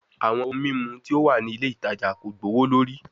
Awọn ohun mimu ti o wa ni ile itaja ko gbowolori